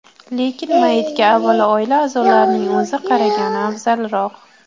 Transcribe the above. Lekin mayyitga avvalo oila a’zolarining o‘zi qaragani afzalroq.